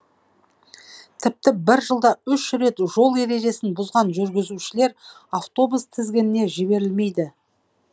тіпті бір жылда үш рет жол ережесін бұзған жүргізушілер автобус тізгініне жіберілмейді